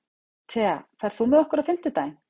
Thea, ferð þú með okkur á fimmtudaginn?